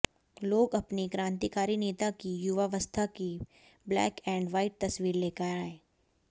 लोग अपने क्रांतिकारी नेता की युवावस्था की ब्लैक एंड व्हाइट तस्वीर लेकर आए